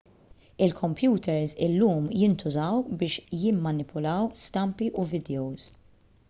il-kompjuters illum jintużaw biex jimmanipulaw stampi u vidjows